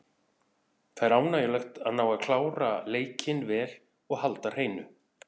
Það er ánægjulegt að ná að klára leikinn vel og halda hreinu.